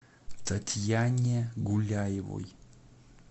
татьяне гуляевой